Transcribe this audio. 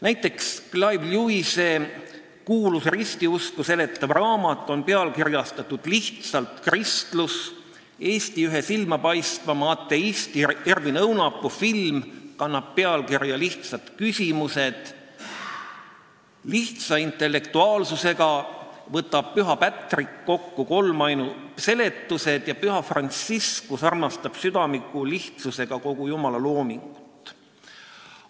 Näiteks, Clive Lewise kuulus ristiusku seletav raamat on pealkirjastatud "Lihtsalt kristlus", Eesti ühe silmapaistvaima ateisti Ervin Õunapuu film kannab pealkirja "Lihtsad küsimused", lihtsa intellektuaalsusega võtab püha Patrick kokku kolmainu seletused ja püha Franciscus armastab südamliku lihtsusega kogu jumala loomingut.